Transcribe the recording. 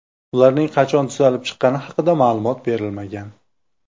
Ularning qachon tuzalib chiqqani haqida ma’lumot berilmagan.